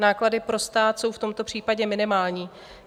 Náklady pro stát jsou v tomto případě minimální.